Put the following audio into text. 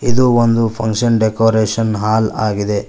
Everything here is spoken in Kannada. ಇದು ಒಂದು ಫಂಕ್ಷನ್ ಡೆಕೋರೇಷನ್ ಹಾಲ್ ಆಗಿದೆ.